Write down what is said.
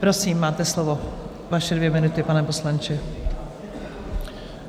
Prosím, máte slovo, vaše dvě minuty, pane poslanče.